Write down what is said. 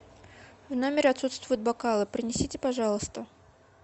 в номере отсутствуют бокалы принесите пожалуйста